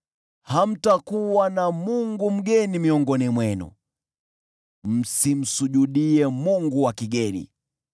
Hamtakuwa na mungu mgeni miongoni mwenu; msimsujudie mungu wa kigeni.